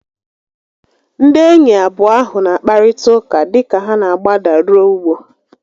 Ndị enyi abụọ ahu n'akparịta ụka dịka ha n'agbada ruo ugbo